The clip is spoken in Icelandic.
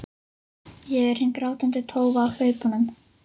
Ég er hin grátandi tófa á hlaupunum.